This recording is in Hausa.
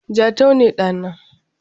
Jatau ne ɗa na.